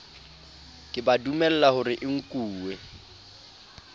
ke ba dumelahore e nkuwe